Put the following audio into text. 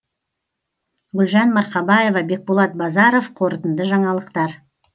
гүлжан марқабаева бекболат базаров қорытынды жаңалықтар